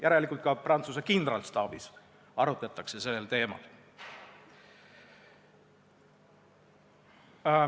Järelikult, ka Prantsuse kindralstaabis arutatakse sel teemal.